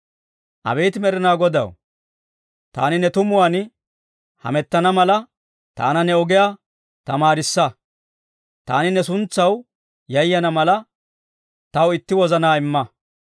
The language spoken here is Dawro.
Abeet Med'inaa Godaw, taani ne tumuwaan hamettana mala, taana ne ogiyaa tamaarissa. Taani ne suntsaw yayana mala, taw itti wozanaa imma.